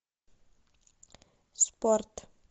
спорт